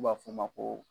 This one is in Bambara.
N'u b'a f'o ma ko